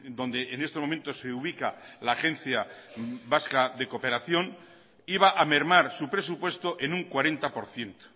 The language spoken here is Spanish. donde en este momento se ubica la agencia vasca de cooperación iba a mermar su presupuesto en un cuarenta por ciento